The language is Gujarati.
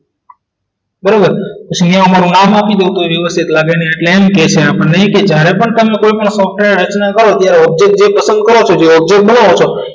બરાબર અહીંયા મારું નામ આપી દઉં તો એ વખતે લાગે ને કે એમ કહે છે કે આપણને જ્યારે પણ તમને કોઈ પણ સોફ્ટવેર ત્યારે આવજે પસંદ કર્યો છે object બનાવો છો